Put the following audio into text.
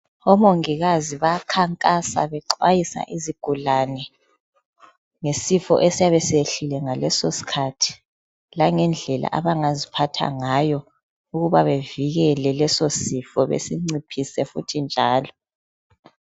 Omongikazi bayakhankasa bexwayisa izigulane ngesifo esiyabe siyehlile ngaleso sikhathi langendlela abangaziphatha ngayo ukuba bevikele leso sifo besinciphise futhi njalo.